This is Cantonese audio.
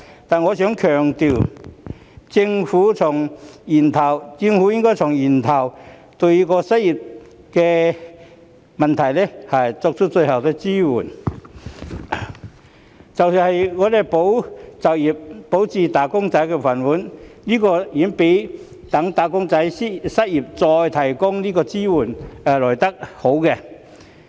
但是，我想強調，政府應該從源頭解決失業問題，對失業人士最好的支援是"保就業"，保住"打工仔"的"飯碗"，這遠較待"打工仔"失業後才提供支援更好。